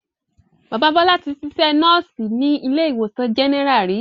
Bàbá Bọ́lá tí sisẹ́ Núùsì ní ilé ìwòsàn General ri